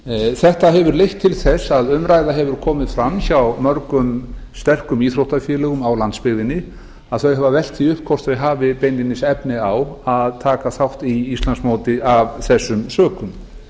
þetta hefur leitt til þess að umræða hefur orðið hjá mörgum sterkum íþróttafélögum á landsbyggðinni og þau hafa velt því upp hvort þau hafi beinlínis efni á að taka þátt í íslandsmóti af þessum sökum